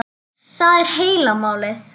Það er heila málið.